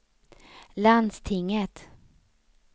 landstinget